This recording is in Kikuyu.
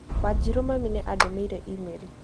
Wanjĩrũ mami nĩ andũmĩire e-mail